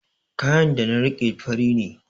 Kayan da na riƙe fari ne